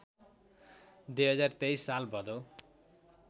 २०२३ साल भदौ